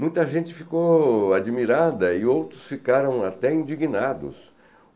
Muita gente ficou admirada e outros ficaram até indignados.